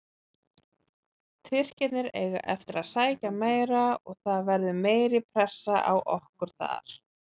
Tyrkirnir eiga eftir að sækja meira og það verður meiri pressa á okkur þar.